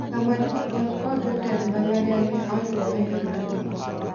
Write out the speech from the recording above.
kama jopuonj kod jotend mbalariany ne oriwore gi ng'anyono.